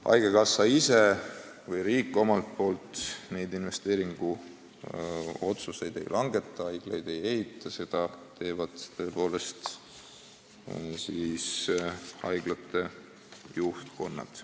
Haigekassa või riik omalt poolt neid investeeringuotsuseid ei langeta, haiglaid ei ehita, seda teevad haiglate juhtkonnad.